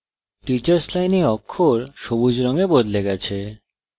teachers line অক্ষর সবুজ রঙে বদলে গেছে